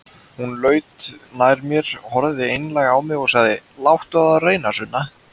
Hún laut nær mér, horfði einlæg á mig og sagði: Láttu á það reyna, Sunna.